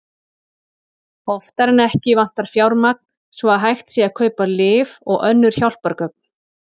Oftar en ekki vantar fjármagn svo að hægt sé að kaupa lyf og önnur hjálpargögn.